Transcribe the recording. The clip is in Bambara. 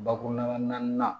Bakuruba naani